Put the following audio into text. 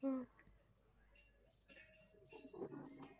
ஹம்